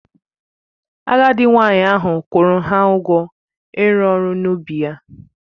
Agadị nwanyị ahụ kwuru ha ugwọ ịru ọrụ n'ubi ya